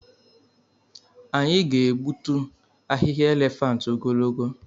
Anyị ga-egbutu ahịhịa elephant ogologo.